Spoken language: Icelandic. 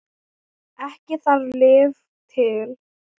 Ekki þarf lyf til.